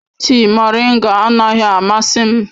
Tịị moringa anaghị amasị m.